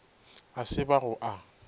a se ba go a